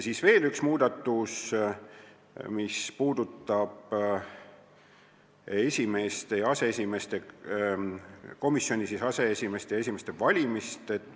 Üks muudatus puudutab komisjonide aseesimeeste ja esimeeste valimist.